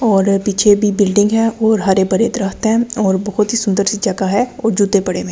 और पीछे भी बिल्डिंग है और हरे-भरे दृहतें हैं और बहोत ही सुंदर सी जगह है और जूते पड़े हुए--